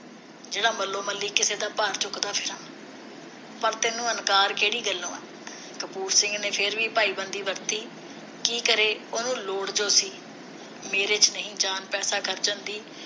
ਜਿਹੜਾ ਮੱਲੋ ਮੱਲੀ ਕਿਸੇ ਦਾ ਭਾਰ ਚੁੱਕਦਾ ਫਿਰਾਂ ਤੈਨੂੰ ਇਨਕਾਰ ਕਿਹੜੀ ਗੱਲੋਂ ਆ ਕਪੂਰ ਸਿੰਘ ਨੇ ਫਿਰ ਵੀ ਭਾਈ ਬੰਦੀ ਵਰਤੀ ਕੀ ਕਰੇ ਉਹਨੂੰ ਲੋੜ ਜੋ ਸੀ ਮੇਰੇ ਵਿਚ ਨਹੀ ਜਾਨ ਪੈਸੇ ਖਰਚਣ ਦੀ